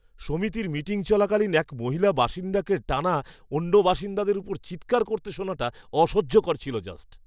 সমিতির মিটিং চলাকালীন এক মহিলা বাসিন্দাকে টানা অন্য বাসিন্দাদের ওপর চিৎকার করতে শোনাটা অসহ্যকর ছিল জাস্ট!